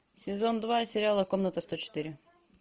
сезон два сериала комната сто четыре